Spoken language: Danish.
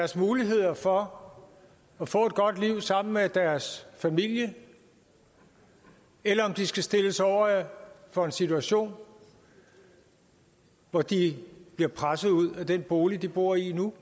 muligheder for at få et godt liv sammen med deres familie eller om de skal stilles over for en situation hvor de bliver presset ud af den bolig de bor i nu